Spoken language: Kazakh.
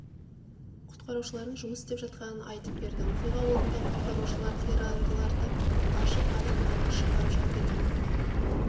құтқарушылардың жұмыс істеп жатқанын айтып берді оқиға орнында құтқарушылар қирандыларды ашып адамдарды шығарып жатыр екен